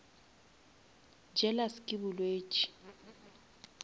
jealous ke bolwetši